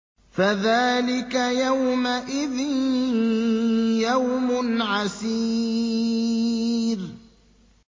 فَذَٰلِكَ يَوْمَئِذٍ يَوْمٌ عَسِيرٌ